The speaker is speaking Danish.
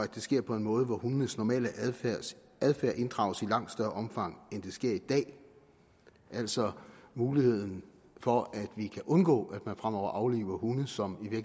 det sker på en måde hvor hundenes normale adfærd inddrages i langt større omgang end det sker i dag altså muligheden for at vi kan undgå at man fremover afliver hunde som